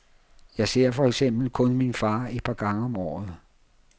Jeg ser for eksempel kun min far et par gange om året.